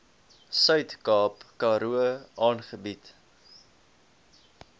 suidkaap karoo aangebied